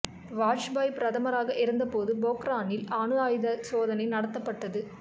வாஜ்பாய் பிரதமராக இருந்த போது பொக்ரானில் அணு ஆயுத சோதனை நடத்தப்பட்டது